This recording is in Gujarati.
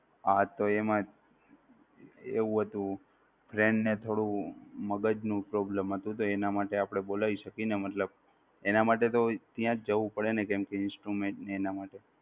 હા તો એમાં એવું હતું friend ને થોડું મગજનો problem હતો તો એના માટે આપણે બોલાવી શકી ને મતલબ એના માટે તો ત્યાં જવું પડે ને કેમ કે Instrument ને તેના માટે